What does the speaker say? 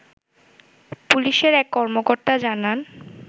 পুলিশের এক কর্মকর্তা জানান